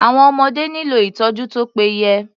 Àwọn ọmọdé nílò ìtọ́jú tó pé yẹ.